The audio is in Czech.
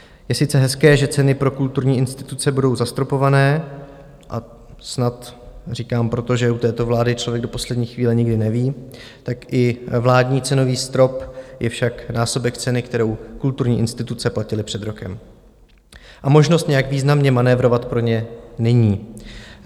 Je sice hezké, že ceny pro kulturní instituce budou zastropované - a "snad" říkám proto, že u této vlády člověk do poslední chvíle nikdy neví - tak i vládní cenový strop je však násobek ceny, kterou kulturní instituce platily před rokem, a možnost nějak významně manévrovat pro ně není.